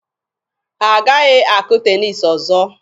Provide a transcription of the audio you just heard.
Ha agaghị akụ teniisi ọzọ.